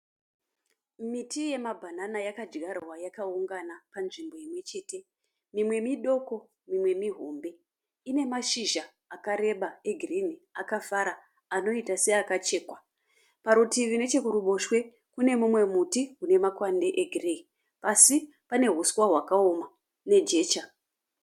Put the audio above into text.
Miti yema banana yakadzvarwa yakaungana panzvimbo imwe chete. Mimwe midoko mimwe mihombe. Ine mashizha akareba egirini akafara anoita seakachekwa. Parutivi neche kuruboshwe kune mumwe muti unemakwande egireyi. Pasi pane uswa hwakaoma nejecha.